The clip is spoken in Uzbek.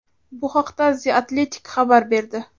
Bu haqda The Athletic xabar berdi .